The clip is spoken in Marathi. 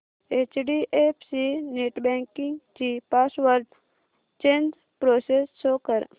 एचडीएफसी नेटबँकिंग ची पासवर्ड चेंज प्रोसेस शो कर